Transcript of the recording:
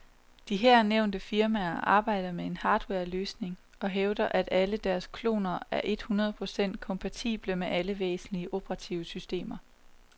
De her nævnte firmaer arbejder med en hardwareløsning og hævder alle, at deres kloner er et hundrede procent kompatible med alle væsentlige operativsystemer.